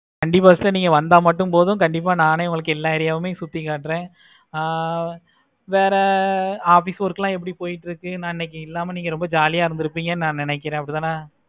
நீங்க வந்த மட்டும் போதும். கண்டிப்பா நானே உங்களுக்கு எல்லா area வும் சுத்தி காட்டுறேன். ஆஹ் வேற office work எல்லாம் எப்படி போய்கிட்டு இருக்கு. நா இன்னைக்கு இல்லாம ரொம்ப jolly ஆஹ் இருந்துருப்பீங்க நினைக்கிறேன்